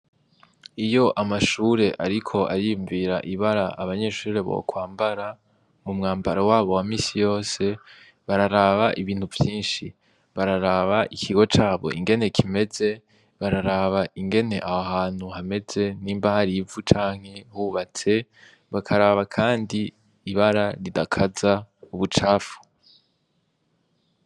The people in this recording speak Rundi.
Iyo amashure ariko ariyumvira ibara abanyeshure bokwambara umwambaro wabo wa minsi yose bararaba ibintu vyinshi, bararaba ikigo cabo ingene kimeze bararaba ingene aho hantu hameze nimba hari ivu canke hubatse, bakaraba kandi ibara ridakaza ubucafu.